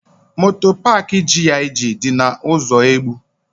Moto paak GIG dị na ụzọ Egbu.